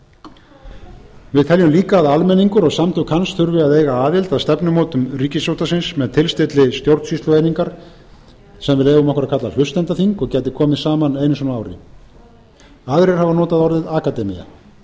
ríkisútvarpsins við teljum líka að almenningur og samtök hans þurfi að eiga aðild að stefnumótun ríkisútvarpsins með tilstilli stjórnsýslueiningar sem við leyfum okkur að kalla hlustendaþing og gæti komið saman einu sinni á ári aðrir hafa notað orðið akademía